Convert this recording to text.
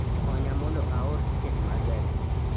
Konya mondo aor tiket ma gari